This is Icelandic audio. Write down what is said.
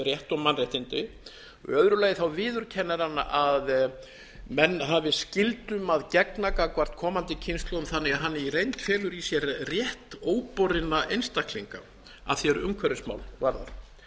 umhverfisrétt og mannréttindi í öðru lagi viðurkennir hann að menn hafi skyldum að gegna gagnvart komandi kynslóðum þannig að hann í reynd felur í sér rétt óborinna einstaklinga að því er umhverfismál varðar